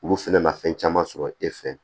Olu fɛnɛ na fɛn caman sɔrɔ e fɛ